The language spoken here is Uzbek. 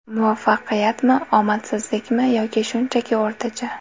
Muvaffaqiyatmi, omadsizlikmi yoki shunchaki o‘rtacha?